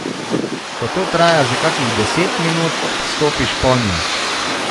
Ko to traja že kakih deset minut, stopiš ponjo.